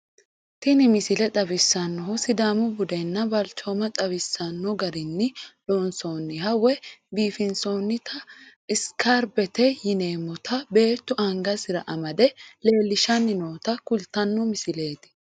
tini misile xawissannohu sidaamu budenna balchooma xawisanno garinni loonsonniha woy biifinsoonnita isikerbete yineemmota beettu angasi'ra amade leellishanni noota kultanno misileeti tini.